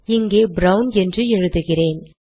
இங்கே ப்ரவுன் என்று எழுதுகிறேன்